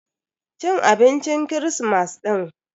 Cin abincin kirismas din.